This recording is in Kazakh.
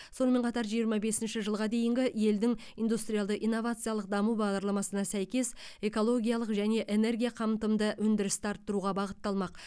сонымен қатар жиырма бесінші жылға дейінгі елдің индустриалды инновациялық даму бағдарламасына сәйкес экологиялық және энергия қамтымды өндірісті арттыруға бағытталмақ